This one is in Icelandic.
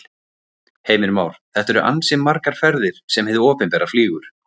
Heimir Már: Þetta eru ansi margar ferðir sem hið opinbera flýgur?